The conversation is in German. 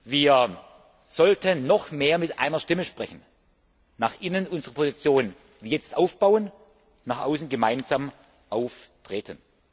Wir sollten noch mehr mit einer Stimme sprechen, nach innen unsere Position wie jetzt aufbauen und nach außen gemeinsam auftreten.